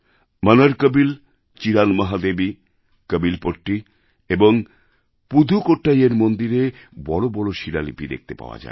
মনারকোবিল Cheranmahadevi Kovilpatti এবং পুদুকোট্টাইয়ের মন্দিরে বড় বড় শিলালিপি দেখতে পাওয়া যায়